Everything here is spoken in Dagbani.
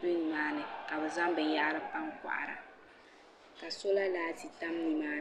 beni ni maa ni ka bɛ zaŋ binyɛhiri pa n-kɔhira ka sɔla laati tam ni maa ni.